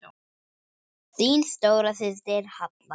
Þín stóra systir, Halla.